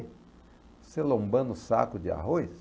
Você lombando o saco de arroz?